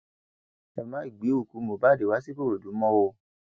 ẹ má gbé òkú mohbad wá sìkòròdú mọ o